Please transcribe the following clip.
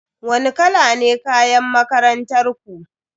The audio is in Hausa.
Wani kala ne kayan makarantar ku?